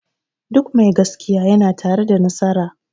Duk mai gaskiya ya na tare da nasara